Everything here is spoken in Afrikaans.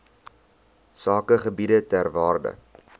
sakegebiede ter waarde